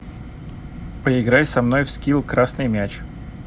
поиграй со мной в скил красный мяч